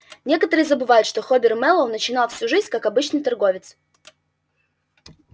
некоторые забывают что хобер мэллоу начинал свою жизнь как обычный торговец